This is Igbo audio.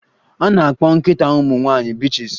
A na-akpọ nkịta ụmụ nwanyị bitches